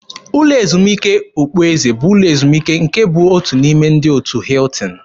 Ụlọ ezumike okpueze bụ ụlọ ezumike nke bụ otu n'ime ndị otu Hiltin.